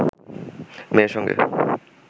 মেয়ের সঙ্গে